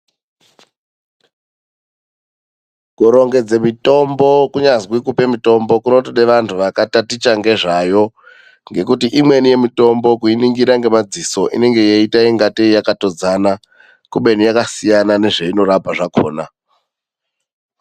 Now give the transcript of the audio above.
Kurongedza mitombo kunyazwi kupe kupe mutombo kunotodawo vandu vakataticha nezvazvo ngekuti imweni mitombo kuiningira nemadziso inenge yeita kunge yakatodzana kubeni yakasiyana nezvainorapa zvakona .